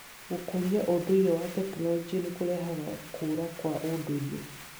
Gũkũria ũndũire wa tekinoronjĩ nĩ kũrehaga kũũra kwa ũndũire.